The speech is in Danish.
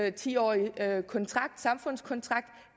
en ti årig samfundskontrakt